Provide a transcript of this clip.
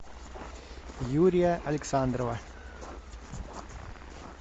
юрия александрова